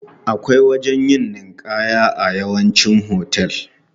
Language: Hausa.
Akwai wajen yin ninƙaya a yawancin hotel.